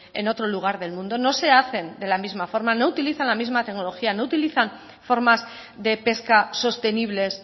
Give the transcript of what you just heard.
en otro lugar del mundo no se hacen de la misma forma no utilizan la misma tecnología no utilizan formas de pesca sostenibles